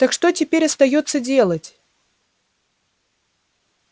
так что теперь остаётся делать